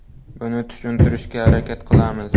Buni tushuntirishga harakat qilamiz.